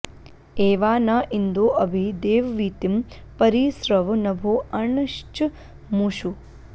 ए॒वा न॑ इन्दो अ॒भि दे॒ववी॑तिं॒ परि॑ स्रव॒ नभो॒ अर्ण॑श्च॒मूषु॑